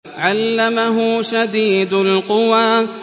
عَلَّمَهُ شَدِيدُ الْقُوَىٰ